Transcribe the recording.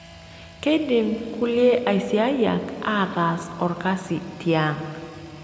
Keidim kulie asiayiak aatas olkasi tiang'.